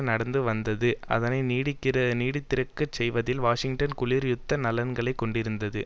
நடந்து வந்தது அதனை நீடித்திருக்கச் செய்வதில் வாஷிங்டன் குளிர் யுத்த நலன்களை கொண்டிருந்தது